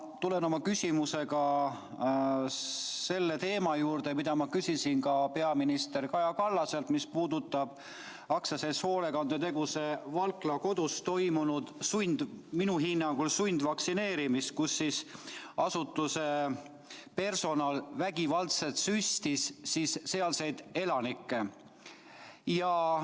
Ma tulen oma küsimusega selle teema juurde, mida ma küsisin ka peaminister Kaja Kallaselt, mis puudutab AS‑i Hoolekandeteenused Valkla Kodus toimunud – minu hinnangul – sundvaktsineerimist, kus asutuse personal vägivaldselt süstis sealseid elanikke.